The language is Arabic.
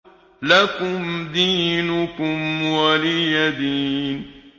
لَكُمْ دِينُكُمْ وَلِيَ دِينِ